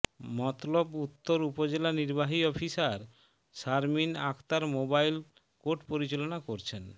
মতলব উত্তর উপজেলা নির্বাহী officer Sharmin Akter mobile court পরিচালনা করছেন